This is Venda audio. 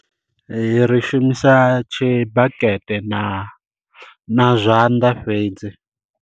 Ri shumisa tshibakete na na zwanḓa fhedzi.